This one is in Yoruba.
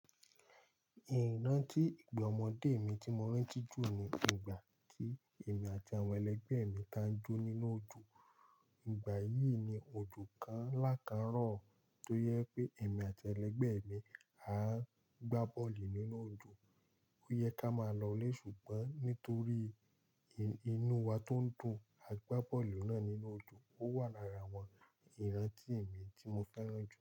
Ìrántí ìgbà ọmọdé mi tí mo rántí jù ni ìgbà tí èmi àti àwọn ẹlẹgbẹ́ mi táa ń jó nínú òjò. Ìgbà yìí ni òjò kan ńlá kan rọ̀ tó jẹ́ pé èmi àti ẹlẹgbẹ́ mi àá ń gbá bọ́ọ̀lù nínú òjò. Ó yẹ ká máa lọ'lé ṣùgbọ́n nítorí inú wa tó ń dùn a gbá bọ́ọ̀lù náà nínú òjò. Ó wà lára àwọn ìrántí mi tí mo fẹ́ràn jù.